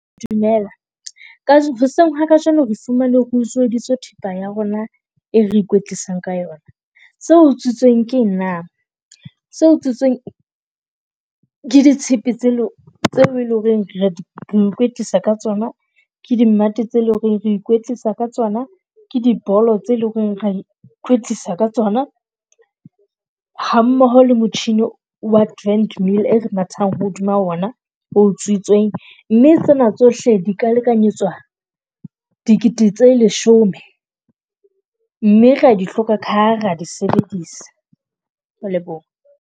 Dumela hoseng ha kajeno re fumane re utsweditswe thepa ya rona e re ikwetlisa ka yona. Se utswitsweng ke , se utsitsweng ke ditshepe tse tse eleng ho re , re ikwetlisa ka tsona ke di mmate tse leng ho re re ikwetlisa ka tsona, ke di bolo tse leng ho re ra ikwetlisa ka tsona. Ha mmoho le motjhini wa trendmill e re mathang hodima ona o utsutswe. Mme tsena tsohle di ka lekanyetswa dikete tse leshome, mme re a di hloka ka ha ra di sebedisa. Ke a leboha.